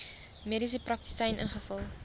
mediese praktisyn ingevul